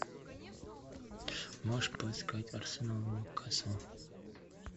можешь поискать арсенал ньюкасл